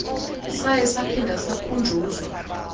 saye saphinda sakhunjuzwa